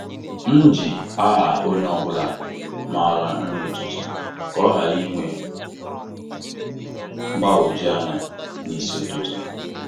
M ji aha onye ọ bụla mara nri ụtụtụ ka ọ ghara inwe mgbagwoju anya n'isi ụtụtụ.